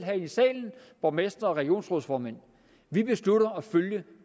borgmestre og regionsrådsformænd vi beslutter at følge